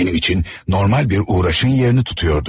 Mənim üçün normal bir uğraşın yerini tutuyordu.